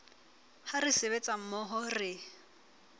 ha re sebetsa mmoho re